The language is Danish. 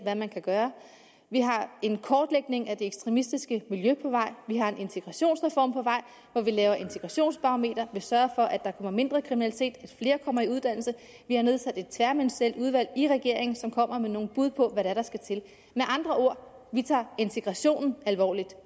hvad man kan gøre vi har en kortlægning af det ekstremistiske miljø på vej vi har en integrationsreform på vej hvor vi laver integrationsbarometer vi sørger for at der kommer mindre kriminalitet og at flere kommer i uddannelse vi har nedsat et tværministerielt udvalg i regeringen som kommer med nogle bud på hvad det er der skal til med andre ord vi tager integrationen alvorligt